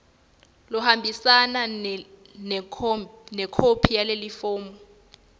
lohambise lekhophi yalelifomu